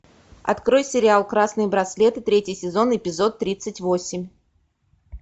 открой сериал красные браслеты третий сезон эпизод тридцать восемь